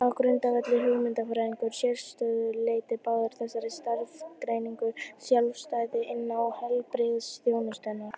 Á grundvelli hugmyndafræðilegrar sérstöðu leita báðar þessar starfsgreinar sjálfstæðis innan heilbrigðisþjónustunnar.